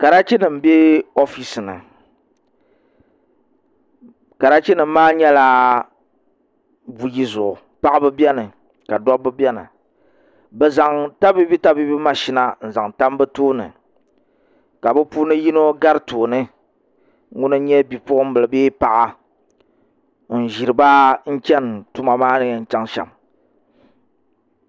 Karachi nim n bɛ oofisi ni karachi nim maa nyɛla buyi zuɣu paɣaba mini dabba bi zaŋ tabiibi tabiibi mashina n zaŋ tam bi tooni ka bi puuni yino gari tooni ŋuni n nyɛ bipuɣunbili bee paɣa n ʒiriba n chɛni tuma maa ni yɛn chɛŋ shɛm